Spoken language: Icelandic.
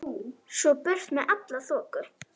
Svo burt með alla þoku.